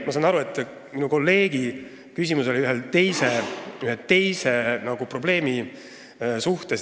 Ma saan aru, et minu kolleegi küsimus oli pigem ühe teise probleemi kohta.